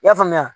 I y'a faamuya